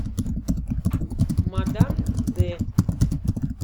мадам д